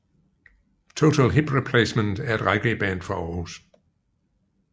Total Hip Replacement er et reggaeband fra Aarhus